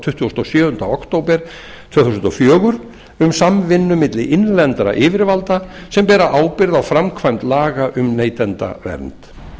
tuttugasta og sjöunda október tvö þúsund og fjögur um samvinnu milli innlendra yfirvalda sem bera ábyrgð á framkvæmd laga um neytendavernd